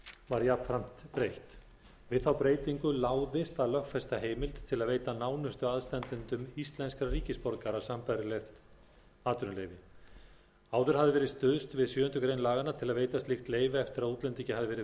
var jafnframt breytt við þá breytingu láðist að lögfesta heimild til að veita nánustu aðstandendum íslenskra ríkisborgara sambærileg atvinnuleyfi áður hafði verið stuðst við sjöundu grein laganna til að veita slík leyfi eftir að útlendingi hafði verið veitt